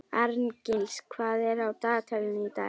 Arngils, hvað er á dagatalinu í dag?